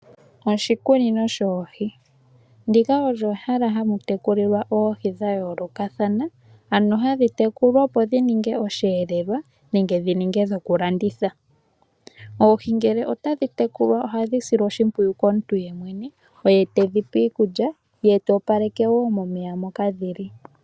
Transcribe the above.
Oshikunino shoohi, ndika olye ehala hamu tekulilwa oohi dha yoolokatha, ano hadhi tekulwa opo dhi ninge oshiyeelelwa nenge dhi ninge dhoku landitha. Oohi ngele otadhi tekulwa ohadhi silwa oshimpwiyu komuntu yemwene, oye tedhipe iikulya, ye ta opaleke wo momeya moka dhili.